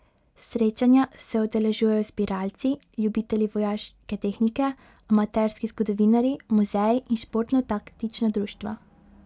Srečanja se udeležujejo zbiralci, ljubitelji vojaške tehnike, amaterski zgodovinarji, muzeji in športno taktična društva.